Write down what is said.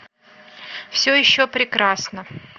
все еще прекрасно